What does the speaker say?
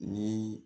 Ni